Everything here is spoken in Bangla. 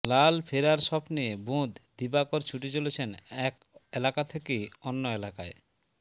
লাল ফেরার স্বপ্নে বুঁদ দিবাকর ছুটে চলেছেন এক এলাকা থেকে অন্য এলাকায়